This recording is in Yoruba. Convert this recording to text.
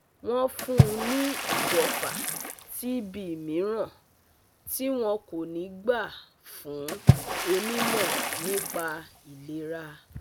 wọ́n fún un ní ìjẹ̀fà TB mìíràn tí wọn kò ní gbà fún onímọ̀ nípa ìlera